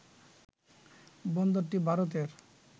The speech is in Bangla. বন্দরটি ভারতের